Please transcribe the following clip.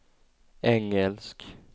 engelsk